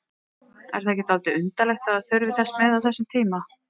Er það ekki dálítið undarlegt að það þurfi þess með á þessum tíma?